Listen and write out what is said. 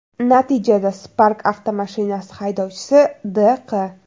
Natijada Spark avtomashinasi haydovchisi D.Q.